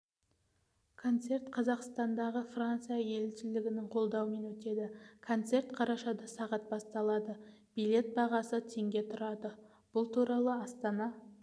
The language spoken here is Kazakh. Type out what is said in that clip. концерт қазақстандағы франция елшілігінің қолдауымен өтеді концерт қарашада сағат басталады билет бағасы теңге бұл туралы астана